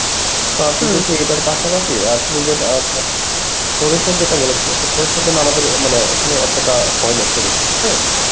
তো আপনি যদি এটার পাশাপাশি আপনি যেটা সরিষা যেটা বলেছিলেন তো সরিষার জন্যে আমাদের এ মানে এখানে এতটা হয় না সরিষা হ্যাঁ